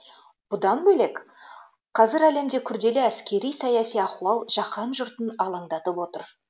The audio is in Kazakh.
бұдан бөлек қазір әлемде күрделі әскери саяси ахуал жаһан жұртын алаңдатып отыр